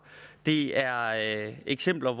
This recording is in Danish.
det er eksempler